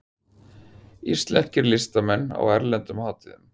Íslenskir listamenn á erlendum hátíðum